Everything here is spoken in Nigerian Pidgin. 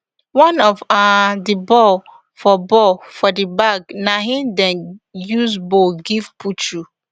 one of um di ball for ball for di bag na im dem use bowl give puchu